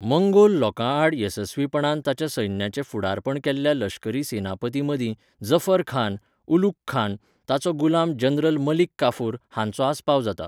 Mongol लोकांआड येसस्वीपणान ताच्या सैन्याचें फुडारपण केल्ल्या लश्करी सेनापतीं मदीं जफर खान, उलुघ खान, ताचो गुलाम जनरल मलिक काफुर हांचो आस्पाव जाता.